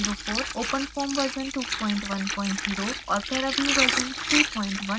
openfoam version 210 और paraview version 3120